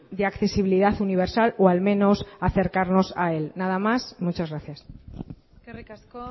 de accesibilidad universal o al menos acercarnos a él nada más muchas gracias eskerrik asko